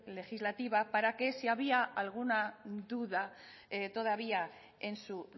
legislativa para que si había alguna duda todavía en su